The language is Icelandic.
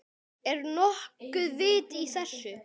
Er nokkuð vit í þessu?